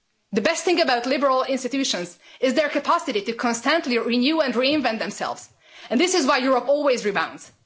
The best thing about liberal institutions is their capacity to constantly renew and reinvent themselves and this is why Europe always rebounds.